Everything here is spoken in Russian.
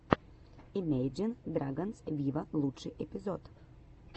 имейджин драгонс виво лучший эпизод